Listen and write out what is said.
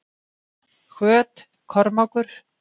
Hvöt- Kormákur